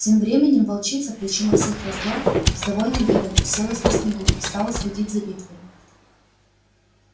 тем временем волчица причина всех раздоров с довольным видом уселась на снегу и стала следить за битвой